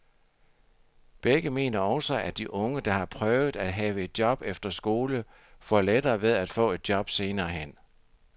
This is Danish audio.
Begge mener også, at de unge, der har prøvet at have et job efter skole, får lettere ved at få et job senere hen.